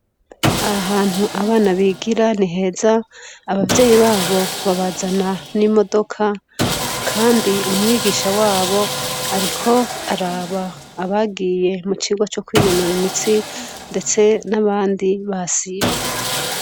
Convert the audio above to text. Aha hantu abana bigira ni heza, abavyeyi babo babazana n'imodoka kandi umwigisha wabo ariko araba abagiye mu cigwa co kwinonora imitsi ndetse n'abandi basivye.